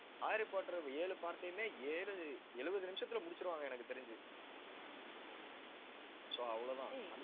Hari Potter ஏழு part ஐயுமே, ஏழு எழுபது நிமிஷத்துல முடிச்சிருவாங்க எனக்குத் தெரிஞ்சு so அவ்வளவுதான்.